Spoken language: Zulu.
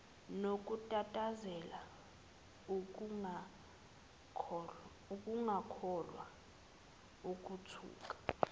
nokutatazela ukungakholwa ukuthuka